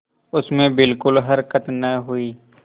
उसमें बिलकुल हरकत न हुई